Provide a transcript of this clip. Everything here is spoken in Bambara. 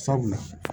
Sabula